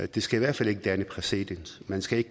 det skal i hvert fald ikke danne præcedens man skal